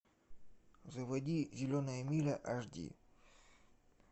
заводи зеленая миля аш ди